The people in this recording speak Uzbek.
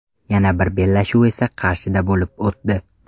Yana bir bellashuv esa Qarshida bo‘lib o‘tdi.